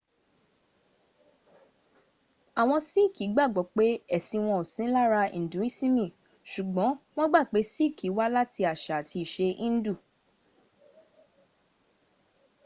àwọn síìkì gbàgbó pé ẹ̀sìn wọn ò sí lára induisimi ṣùgbọ́n wọ́n gbà pé síìkì wá láti àṣà àti ìṣe indù